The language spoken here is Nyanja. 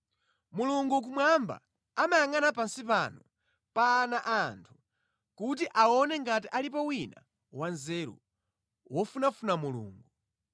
Mulungu kumwamba amayangʼana pansi pano pa ana a anthu kuti aone ngati alipo wina wanzeru, wofunafuna Mulungu.